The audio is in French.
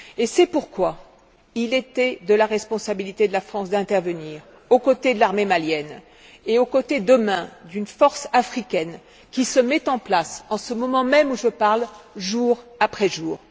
C'est pourquoi il était de la responsabilité de la France d'intervenir, aux côtés de l'armée malienne et aux côtés, demain, d'une force africaine qui se met en place en ce moment même où je parle, jour après jour.